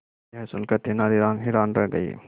यह सुनकर तेनालीराम हैरान रह गए